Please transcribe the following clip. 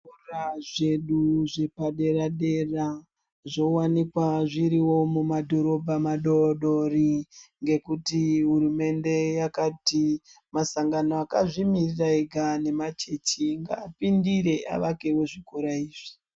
Zvikora zvedu zvepadera-dera zvovanika zvirivo mumadhorobha madodori. Ngekuti hurumende yakati masandgano akazvimirira ega nemachechi ngapindire avakevo zvikora izvi.